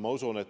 Ma usun, et